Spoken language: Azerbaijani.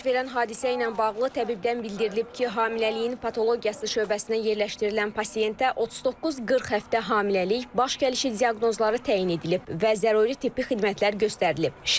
Baş verən hadisə ilə bağlı təbibdən bildirilib ki, hamiləliyin patologiyası şöbəsinə yerləşdirilən pasientə 39-40 həftə hamiləlik, baş gəlişi diaqnozları təyin edilib və zəruri tibbi xidmətlər göstərilib.